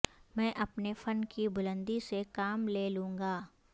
میں اپنے فن کی بلندی سے کام لے لونگا